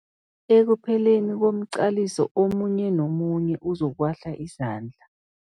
Ekupheleni komqaliso omunye nomunye uzokuwahla izandla.